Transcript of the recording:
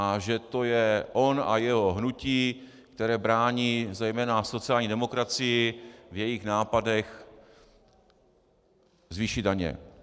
A že to je on a jeho hnutí, které brání zejména sociální demokracii v jejích nápadech zvýšit daně.